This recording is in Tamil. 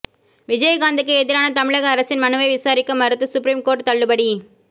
விஜயகாந்துக்கு எதிரான தமிழக அரசின் மனுவை விசாரிக்க மறுத்து சுப்ரீம் கோர்ட் தள்ளுபடி